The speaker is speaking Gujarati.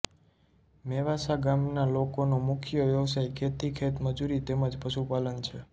મેવાસા ગામના લોકોનો મુખ્ય વ્યવસાય ખેતી ખેતમજૂરી તેમ જ પશુપાલન છે